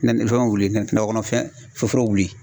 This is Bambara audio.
Na fɛngɛ wuli nakɔ kɔnɔfɛn foro wuli.